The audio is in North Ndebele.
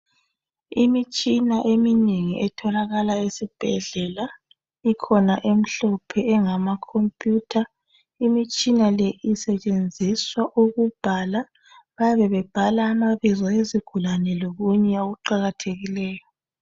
imitshina eminengi etholakala esibhedlela ikhona emhlophe engama computer imitshina le isetshenziswa ukubhala bayabe bebhala amabizo ezigulane lokunye okuqakathekileyo